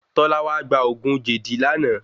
Tọ́lá wá gba ògún jèdí lánàá.